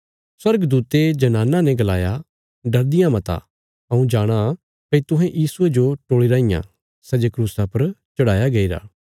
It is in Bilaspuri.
स्वर्गदूते जनानां ने गलाया डरदियां मता हऊँ जाणाँ भई तुहें यीशुये जो टोल़ी राँईयां सै जे क्रूसा पर चढ़ाया गैईरा